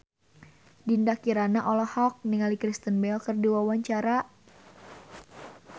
Dinda Kirana olohok ningali Kristen Bell keur diwawancara